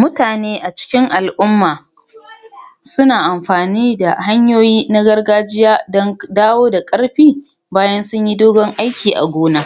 Mutane a cikin al'umma sina amfani da hanyoyi na gargajiya don dawo da ƙarfi bayan sun yi dogon aiki a gona,